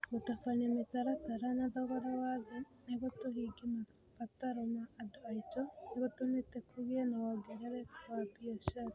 Gũtabania mĩtaratara na thogora wa thĩ nĩguo tũhingie mabataro ma andũ aitũ nĩ gũtũmĩte kũgĩe na wongerereku wa biacara.